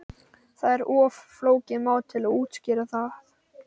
Það er of flókið mál til að útskýra það.